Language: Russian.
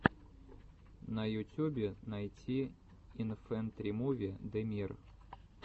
на ютюбе найти инфэнтримуви дэмир